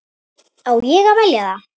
Á ég að velja það?